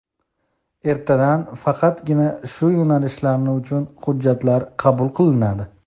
ertadan faqatgina shu yo‘nalishlari uchun hujjatlar qabul qilinadi.